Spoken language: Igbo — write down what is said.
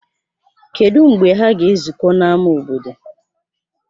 Kedụ mgbe ha ga-ezukọ n'ámá obodo?